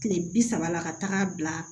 Kile bi saba la ka taaga bila